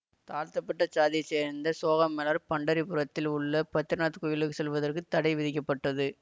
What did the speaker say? தாழ்த்தப்பட்ட சாதியச் சேர்ந்த சோகாமெளர் பண்டரி புரத்தில் உள்ள பத்ரிநாத் கோயிலுக்குள் செல்லுவதற்குத் தடை விதிக்கப்பட்டது